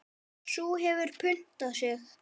Sú hefur puntað sig!